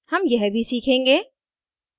हम यह भी सीखेंगे